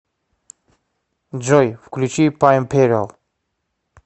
джой включи паймпериал